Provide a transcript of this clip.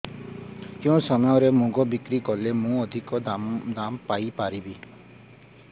କେଉଁ ସମୟରେ ମୁଗ ବିକ୍ରି କଲେ ମୁଁ ଅଧିକ ଦାମ୍ ପାଇ ପାରିବି